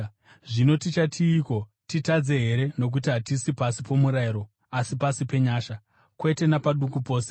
Zvino tichatiiko? Titadze here nokuti hatisi pasi pomurayiro asi pasi penyasha. Kwete napaduku pose!